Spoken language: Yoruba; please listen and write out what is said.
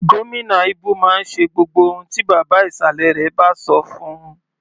Gómìnà Ibu máa ń ṣe gbogbo ohun tí bàbá ìsàlẹ̀ rẹ̀ bá sọ fún-un.